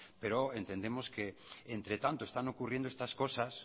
pero entendemos que entretanto están ocurriendo estas cosas